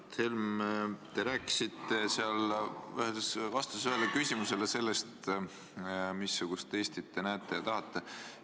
Mart Helme, te rääkisite vastuses ühele küsimusele sellest, missugust Eestit te tahate.